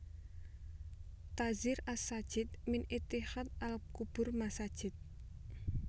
Tadzhir as Sajid min Ittikhadz al Qubur Masajid